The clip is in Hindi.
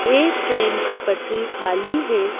एक ट्रेन की पटरी खाली है।